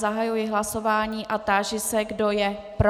Zahajuji hlasování a táži se, kdo je pro.